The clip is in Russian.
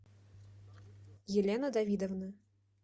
елена давидовна